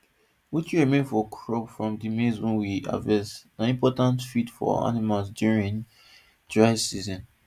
wetin remain for crop from rhe maize wey we harvest na important feed for animal during dry season